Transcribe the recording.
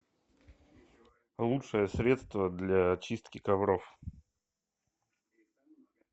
лучшее средство для чистки ковров